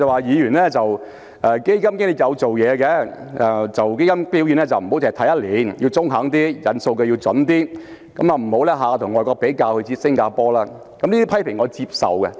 他說基金經理有做工夫，基金表現不能單看一年，要中肯一點，引用數據要準確一點，不要總是跟外國比較，而他所指的是新加坡。